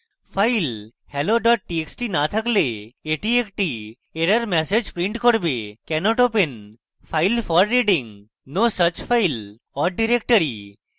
file hello txt no থাকলে এটি একটি error ম্যাসেজ print করবে: cannot open file for reading : no such file or directory